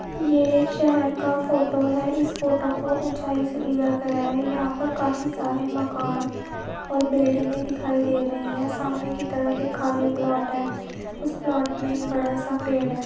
ये एक शहर का फोटो है इस फोटो को ऊंचाई से लिया गया है | यहां पर काफी सारे मकान और बिल्डिंगे दिखाई दे रही है सामने की तरफ एक खाली प्लॉट है उस प्लॉट में एक बड़ा सा पेड़ है।